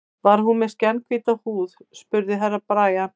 Var hún með skjannahvíta húð, spurði Herra Brian.